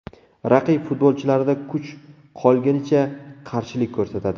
Raqib futbolchilarida kuch qolgunicha qarshilik ko‘rsatadi.